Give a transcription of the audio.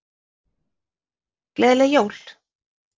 Gleðileg jól!